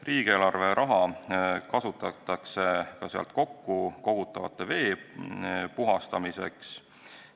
Riigieelarve raha kasutatakse ka sealt kokkukogutava vee puhastamiseks.